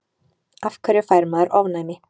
af hverju fær maður ofnæmi